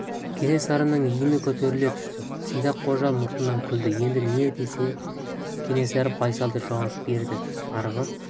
кенесарының иіні көтеріле түсті сидақ қожа мұртынан күлді енді не десін кенесары байсалды жауап берді арғы